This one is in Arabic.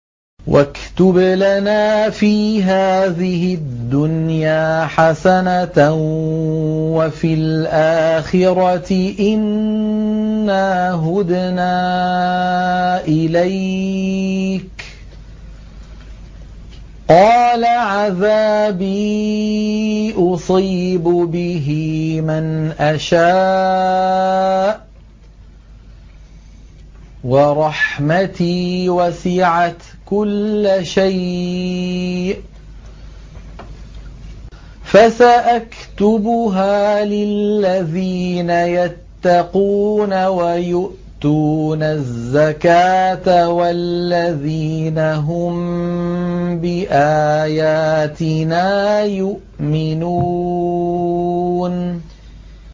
۞ وَاكْتُبْ لَنَا فِي هَٰذِهِ الدُّنْيَا حَسَنَةً وَفِي الْآخِرَةِ إِنَّا هُدْنَا إِلَيْكَ ۚ قَالَ عَذَابِي أُصِيبُ بِهِ مَنْ أَشَاءُ ۖ وَرَحْمَتِي وَسِعَتْ كُلَّ شَيْءٍ ۚ فَسَأَكْتُبُهَا لِلَّذِينَ يَتَّقُونَ وَيُؤْتُونَ الزَّكَاةَ وَالَّذِينَ هُم بِآيَاتِنَا يُؤْمِنُونَ